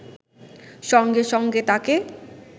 সঙ্গে সঙ্গে তাকে